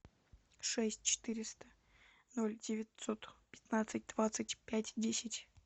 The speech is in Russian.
шесть четыреста ноль девятьсот пятнадцать двадцать пять десять